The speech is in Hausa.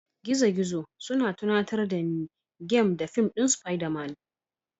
Gizogizo suna tunatar da ni game da fim ɗin Spiderman